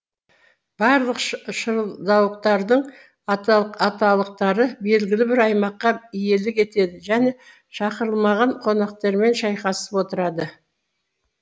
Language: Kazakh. барлық шырылдауықтардың аталықтары белгілі бір аймаққа иелік етеді және шақырылмаған қонақтармен шайқасып отырады